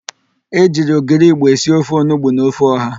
E ji ogiri igbo esi ofe onugbo na ofe ọha.